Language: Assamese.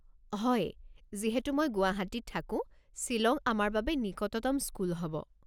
হয়, যিহেতু মই গুৱাহাটীত থাকো, শ্বিলং আমাৰ বাবে নিকটতম স্কুল হ'ব।